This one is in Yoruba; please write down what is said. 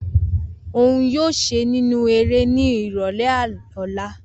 Oun yoo ṣe ninu ere ni irọlẹ ọla.